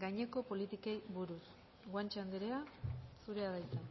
gaineko politikei buruz guanche andrea zurea da hitza